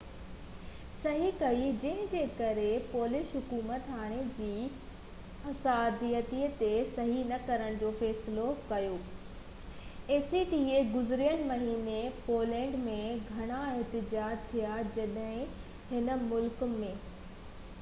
گذريل مهيني پولينڊ ۾ گهڻا احتجاج ٿيا جڏهن ان ملڪ acta تي صحي ڪئي جنهن جي ڪري پولش حڪومت هاڻي جي لاءِ معاهدي تي صحي نہ ڪرڻ جو فيصلو ڪيو آهي